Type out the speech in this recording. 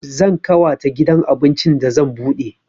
Zan ƙawata gidan abincin da zan buɗe